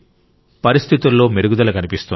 పరిస్థితుల్లో మెరుగుదల కనిపిస్తోంది